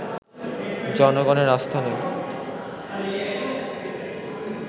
জনগণের আস্থা নেই